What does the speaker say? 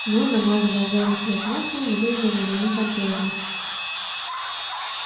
но намазывая гарри хлеб маслом выглядела уже не так грозно